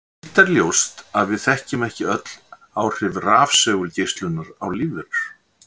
Hitt er ljóst að við þekkjum ekki öll áhrif rafsegulgeislunar á lífverur.